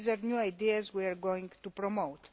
These are new ideas we are going to promote.